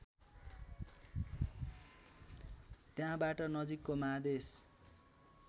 त्यहाँबाट नजिकको महादेश